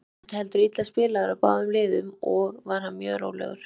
Leikurinn þótti heldur illa spilaður af báðum liðum og var mjög rólegur.